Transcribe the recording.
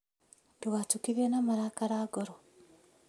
Ndũgatukithie na marakara ngoro